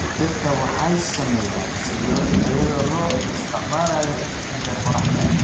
Dhirta waxay samaystaan sawirro iyadoo la isticmaalayo iftiinka qorraxda.